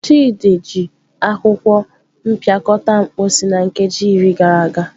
Chidi ji akwụkwọ mpịakọta mposi na nkeji iri gara aga.